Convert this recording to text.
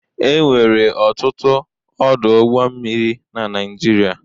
Enwere ọtụtụ ọdụ ụgbọ mmiri na Naijiria.